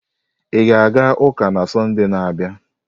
Ị ga-aga ụka na Sọnde na-abịa?